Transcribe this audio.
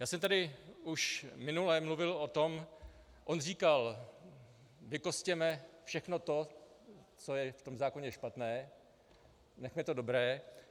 Já jsem tady už minule mluvil o tom - on říkal, vykostěme všechno to, co je v tom zákoně špatné, nechme to dobré.